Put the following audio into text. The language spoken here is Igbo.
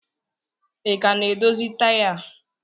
Ị ka na-edozi taya a?